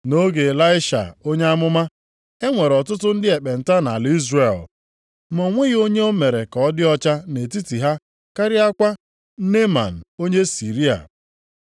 Nʼoge Ịlaisha onye amụma, e nwere ọtụtụ ndị ekpenta nʼala Izrel, ma o nweghị onye e mere ka ọ dị ọcha nʼetiti ha karịakwa Neeman onye Siria.”